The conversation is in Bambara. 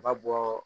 Ba bɔɔ